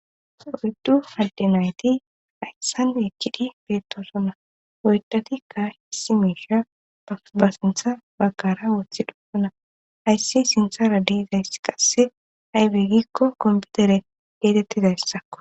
Oyddu madde nayti hayssan ekkidi beettosona oydhatikka hiisi miisha pabasintha bakara wothi dhopona hayssi sinthara diizayss qasse haybegikko kompiutere geetettidayssakko.